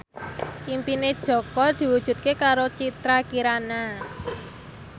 impine Jaka diwujudke karo Citra Kirana